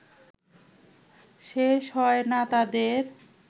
শেষ হয় না তাদের